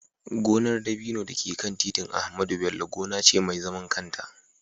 gonar dabino da ke kan titin Ahmadu Bello gona ce mai zaman kanta